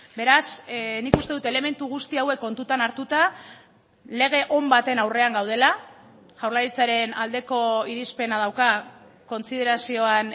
beraz nik uste dut elementu guzti hauek kontutan hartuta lege on baten aurrean gaudela jaurlaritzaren aldeko irizpena dauka kontsiderazioan